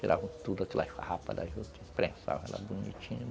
Tiravam todas aquelas farrapas das outras, imprensavam lá bonitinho.